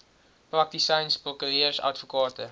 praktisyns prokureurs advokate